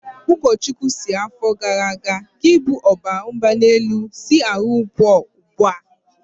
Ụkọchukwu sịrị afọ gara aga"Gị bụ ọbaramgbalịelu, si n'ahụ pụọ ugbua!